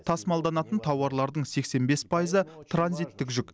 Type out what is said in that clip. тасымалданатын тауарлардың сексен бес пайызы транзиттік жүк